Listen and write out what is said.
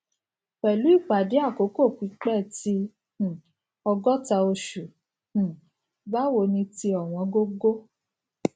pẹlu ipade akoko pipẹ ti um ogota oṣu um bawo ni ti owongogo